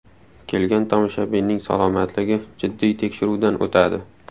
Kelgan tomoshabinning salomatligi jiddiy tekshiruvdan o‘tadi.